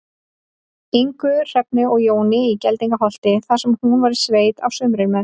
Ingu, Hrefnu og Jóni í Geldingaholti, þar sem hún var í sveit á sumrin með